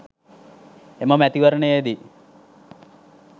එම මැතිවරණයේ දී